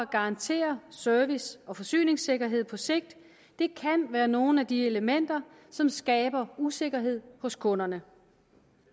garantere service og forsyningssikkerhed på sigt kan være nogle af de elementer som skaber usikkerhed hos kunderne